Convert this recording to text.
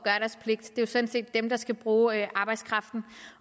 det er jo sådan set dem der skal bruge arbejdskraften